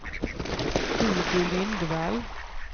Hugo Lindvall